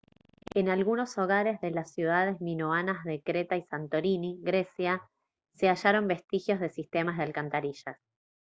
en algunos hogares de las ciudades minoanas de creta y santorini grecia se hallaron vestigios de sistemas de alcantarillas